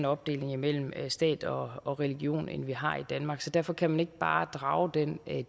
opdeling mellem stat og og religion end vi har i danmark så derfor kan man ikke bare drage den